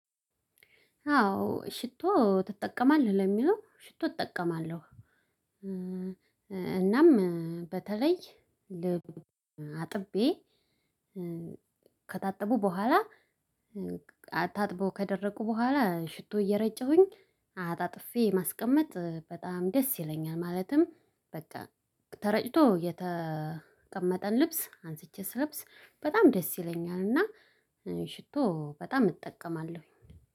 አዎ ሽቶ ትጠቀማለህ ለሚለው ሽቶ እጠቀማለሁ። እናም በተለይ አጥቤ ከታጠቡ በኋላ ታጥቦ ከደረቁ በኋላ ሽቶ እየረጨሁኝ አጣጥፌ ማስቀመጥ በጣም ደስ ይለኛል። ማለትም በቃ ተረጭቶ የተቀመጠን ልብስ አንስቼ ስለብስ በጣም ደስ ይለኛልና። ሽቶ በጣም እጠቀማለሁ